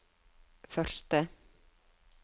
første